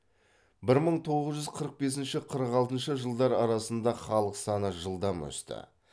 бір мың тоғыз жүз қырық бесінші қырық алтыншы жылдар арасында халық саны жылдам өсті